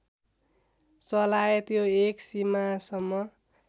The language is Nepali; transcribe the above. चलाए त्यो एक सीमासम्म